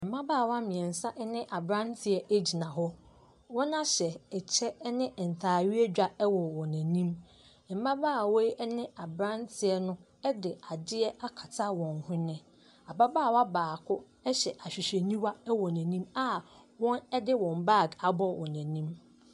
Mmabaawa mmeɛnsa ne aberanteɛ gyina hɔ. Wɔahyɛ kyɛ ne ntaareɛ dwa wɔ wɔn anim. Mmabaawa yi ne aberanteɛ no de adeɛ akata wɔn hwene. Ababaawa baako hyɛ ahwehwɛniwa wɔ n'anim a wɔde wɔn baage abɔ wɔ anim.